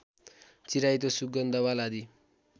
चिराइतो सुगन्धवाल आदि